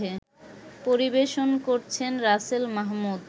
পরিবেশন করছেন রাসেল মাহমুদ